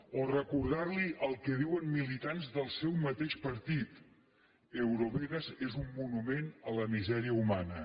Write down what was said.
o recordar li el que diuen militants del seu mateix partit eurovegas és un monument a la misèria humana